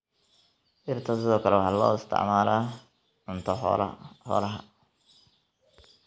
Dhirta sidoo kale waxaa loo isticmaalaa cunto xoolaha.